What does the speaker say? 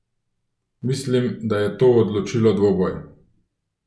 Mislim, da je to odločilo dvoboj.